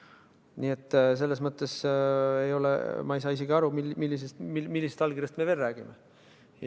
Nii et selles mõttes ma ei saa isegi aru, millisest allkirjast me räägime.